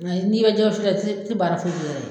N'i bɛ jɛgɛ wusu kɛ i tɛ i tɛ baara foyi kɛ i yɛrɛ ye.